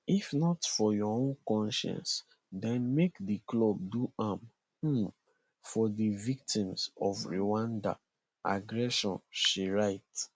if not for your own consciences den make di clubs do am um for di victims of rwandan aggression she write